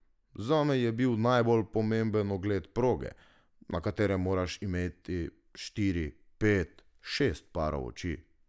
Zame je bil najbolj pomemben ogled proge, na katerem moraš imeti štiri, pet, šest parov oči.